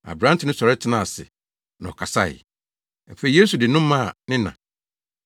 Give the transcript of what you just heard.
Aberante no sɔre tenaa ase na ɔkasae. Afei Yesu de no maa ne na.